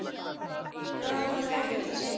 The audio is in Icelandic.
Það hafði ekkert að segja.